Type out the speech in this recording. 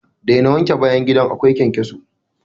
Daina wanke bayan gidan akwai ƙenƙeso!